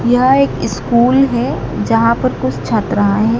यह एक स्कूल है जहां पर कुछ छात्राएं हैं।